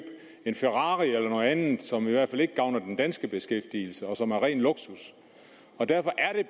en ferrari eller noget andet som i hvert fald ikke gavner den danske beskæftigelse og som er ren luksus derfor